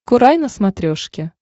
курай на смотрешке